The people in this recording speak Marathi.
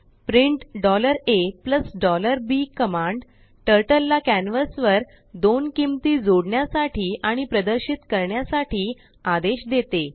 प्रिंट a bकमांडटर्टललाकॅनवासवर दोन किंमती जोडण्यासाठी आणि प्रदर्शित करण्यासाठीआदेशदेते